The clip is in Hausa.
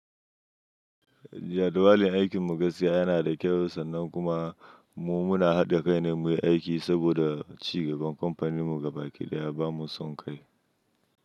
Jadawalin aikin mu gaskiya yana da kyau sannan kuma mu muna haɗa kai ne muyi aiki saboda cigaban kamfanin mu gaba ɗaya ya bamu son kai.